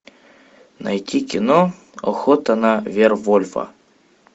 найти кино охота на вервольфа